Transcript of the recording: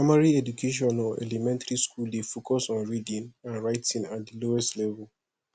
primary education or elementry school dey focus on reading and writing at the lowest level